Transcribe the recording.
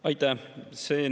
Aitäh!